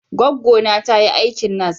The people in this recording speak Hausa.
Gwaggona ta yi aikin nas.